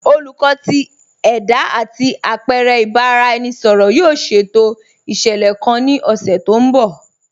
Olùkọ̀ tì ẹda àti apẹ̀rẹ̀ ìbàráẹnisọ̀rọ̀ yóò ṣétò iṣẹ́lẹ̀ kàn ní ọṣẹ̀ tó nbọ̀.